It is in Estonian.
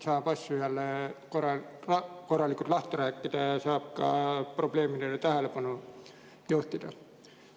Saab asju jälle korralikult lahti rääkida ja saab ka probleemidele tähelepanu juhtida.